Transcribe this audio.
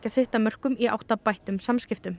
sitt af mörkum í átt að bættum samskiptum